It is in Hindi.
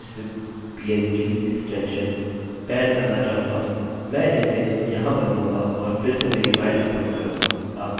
मैं इसे यहाँ बदलूँगा और फिर से मेरी फाइल अपलोड करूँगा